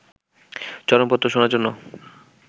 চরমপত্র' শোনার জন্য